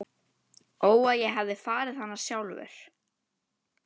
Ó að ég hefði farið hana sjálfur.